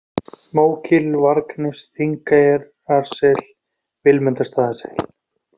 Mógil, Vargnes, Þingeyrasel, Vilmundarstaðasel